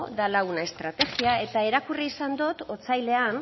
dela una estrategia eta irakurri izan dot otsailean